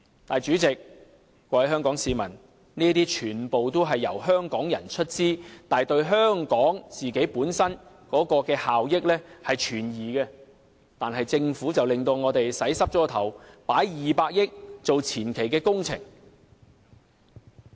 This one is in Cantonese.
但是，主席、各位香港市民，這些全部都是由香港人出資，但對香港本身的效益存疑，可是政府卻讓我們回不了頭，投放200億元作為前期工程。